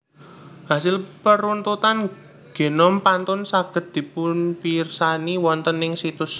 Hasil peruntutan genom pantun saged dipunpirsani wonten ing situs